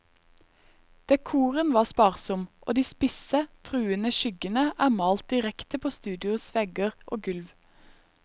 Dekoren var sparsom, og de spisse, truende skyggene er malt direkte på studioets vegger og gulv.